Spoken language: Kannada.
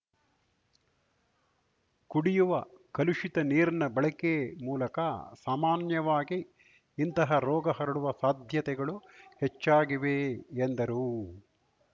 ಕುಡಿಯುವ ಕಲುಷಿತ ನೀರಿನ ಬಳಕೆ ಮೂಲಕ ಸಾಮಾನ್ಯವಾಗಿ ಇಂತಹ ರೋಗ ಹರಡುವ ಸಾಧ್ಯತೆಗಳು ಹೆಚ್ಚಾಗಿವೆ ಎಂದರು